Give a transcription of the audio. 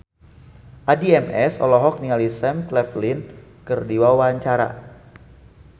Addie MS olohok ningali Sam Claflin keur diwawancara